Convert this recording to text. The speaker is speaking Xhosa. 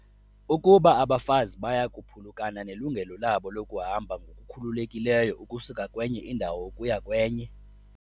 Ukuba abafazi baya kuphulukana nelungelo labo lokuhamba ngokukhululekileyo ukusuka kwenye indawo ukuya kwenye.